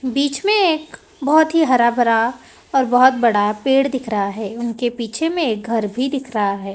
बीच में एक बहोत ही हरा-भरा और बहोत बड़ा पेड़ दिख रहा है उनके पीछे में एक घर भी दिख रहा है।